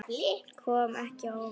Kom ekki á óvart.